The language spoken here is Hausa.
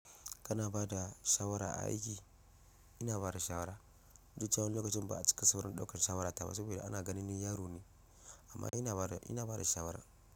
Kana ba da shawara a aiki? Ina ba da shawara. Duk da cewa wani lokacin ba a cika sauraron ɗaukar shawarata ba saboda ana ganin ni yaro ne, amma ina bada, ina bada shawara.